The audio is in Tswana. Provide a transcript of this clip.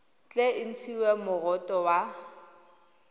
tle e ntshiwe moroto wa